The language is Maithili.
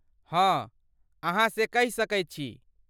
हँ, अहाँ से कहि सकैत छी।